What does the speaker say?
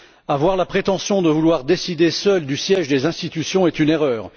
Avoir la prétention de vouloir décider seul du siège des institutions est une erreur.